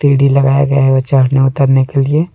सीढ़ी लगाया गया है और चढ़ने उतरने के लिए।